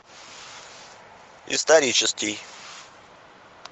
исторический